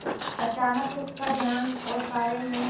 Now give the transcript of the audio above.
अचानक उसका ध्यान ओसारे में